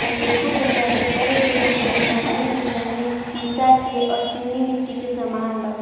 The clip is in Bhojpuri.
अनेकों प्रकार के तरह-तरह के डिजाइनिंग डिजाइनिंग शीशा के और चीनी मिट्टी के सामान बा।